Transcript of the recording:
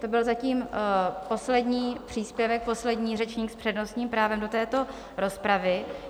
To byl zatím poslední příspěvek, poslední řečník s přednostním právem do této rozpravy.